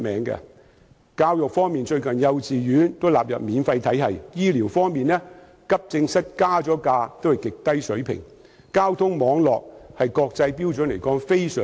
在教育方面，幼稚園最近也被納入免費體系；在醫療方面，即使急症室收費增加，但收費仍然在極低水平。